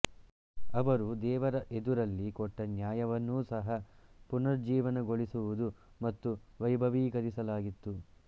ಅವರು ದೇವರ ಎದುರಲ್ಲಿ ಕೊಟ್ಟ ನ್ಯಾಯವನ್ನೂ ಸಹ ಪುನರುಜ್ಜೀವನಗೊಳಿಸುವುದು ಮತ್ತು ವೈಭವೀಕರಿಸಲಾಗಿತ್ತು